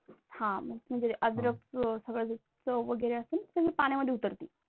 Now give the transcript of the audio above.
हा अद्रकचे सगळं जे चव वगैरे असे सगळे पाण्यामध्ये उतरते.